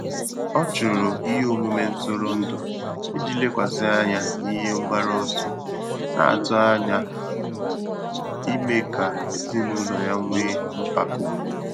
Ọ́ chụ́rụ̀ ìhè ọmụ́mé ntụ́rụ́ndụ̀ ìjí lékwàsị́ ányá n’íhé mgbàrù ọsọ, nà-àtụ́ ányá ìmé kà èzínụ́lọ yá nwèé mpàkò.